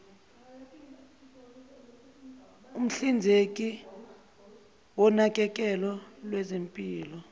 umhlinzeki wonakekelo lwezempilo